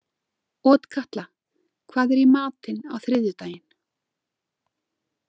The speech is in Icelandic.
Otkatla, hvað er í matinn á þriðjudaginn?